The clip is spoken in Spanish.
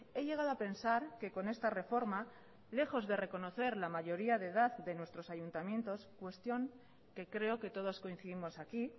he llegado a pensar que con esta reforma lejos de reconocer la mayoría de edad de nuestros ayuntamientos cuestión que creo que todos coincidimos aquí